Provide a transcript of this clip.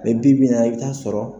Bi bi in na i bi taa sɔrɔ.